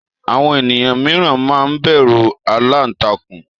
àwọn eniyan miran ma n bẹru àlàntakùn